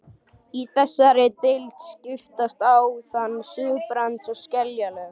Í þessari deild skiptast á þunn surtarbrands- og skeljalög.